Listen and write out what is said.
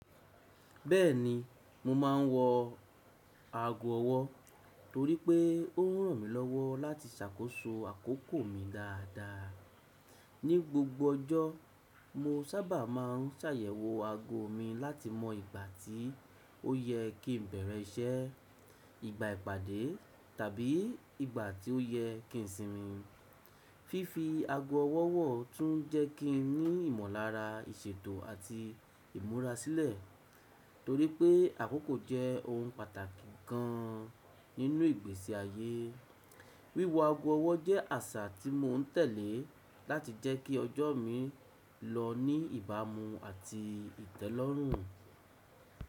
Bẹ́ẹ̀ni, mo máa ń wọ ago ọwọ́ torí pé ó ń ràn mí lọ́wọ́ láti ṣàkóso àkókò mi dáadáa. Ní gbogbo ọjọ́, mo sábà máa ń ṣàyẹ̀wò ago mi láti mọ ìgbà tí ó yẹ kí n bẹ̀rẹ̀ iṣẹ́, ìgbà ìpàdé, tàbí ìgbà tí ó yẹ kí n sinmi. Fífi ago ọwọ́ wọ̀ tún jẹ́ kí n ní ìmọ̀lára ìṣètò àti ìmúrasílẹ̀. Torí pé àkókò jẹ́ ohun pàtàkì gan nínú ìgbésí ayé, wíwo ago ọwọ́ jẹ́ àṣà tí mo ń tẹ̀lé láti jẹ́ kí ọjọ́ mi lọ ní ìbámu àti ìtẹ́lọ́rùn.